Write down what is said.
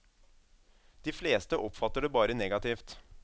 De fleste oppfatter det bare negativt.